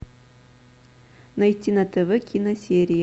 найти на тв киносерии